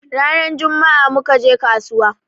Rana jummaa muka je kasuwa